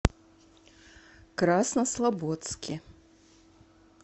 краснослободске